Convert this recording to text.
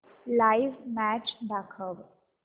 live match दाखव